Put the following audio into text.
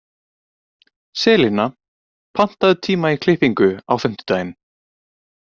Selina, pantaðu tíma í klippingu á fimmtudaginn.